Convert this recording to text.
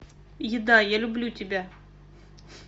еда я люблю тебя